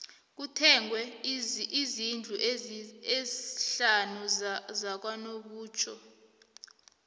kuthengwe izndlu ezisihlanu zakanobutjho